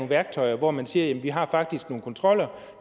værktøjer hvor man siger jamen vi har faktisk nogle kontroller